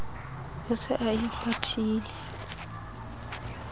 o se a e kgwathile